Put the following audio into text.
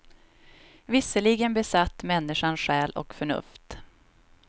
Visserligen besatt människan själ och förnuft.